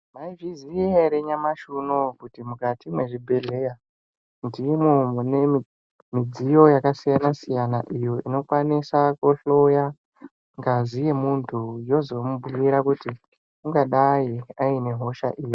Mwaizviziya ere nyamashi unou kuti mukati mwezvibhedhlera ndimwo mune midziyo yakasiyana siyana iyo inokwanisa kuhloya ngazi yomuntu yozomubhiira kuti ungadai aine hosha iri.